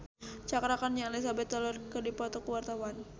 Cakra Khan jeung Elizabeth Taylor keur dipoto ku wartawan